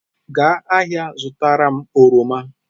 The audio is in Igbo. Gaa ahịa zụtara m oroma.